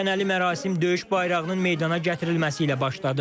Təntənəli mərasim döyüş bayrağının meydana gətirilməsi ilə başladı.